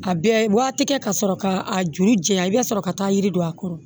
A bɛɛ waati kɛ ka sɔrɔ ka a juru janya i bɛ sɔrɔ ka taa yiri don a kɔrɔ